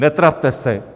Netrapte se!